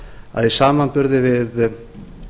að í samanburði við